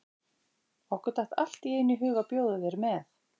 Okkur datt allt í einu í hug að bjóða þér með.